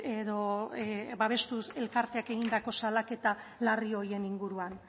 edo babestuz elkarteak egindako salaketa larri horien inguruan